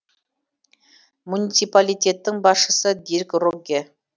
муниципалитеттің басшысы дирк рогге